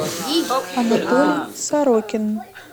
анатолий сорокин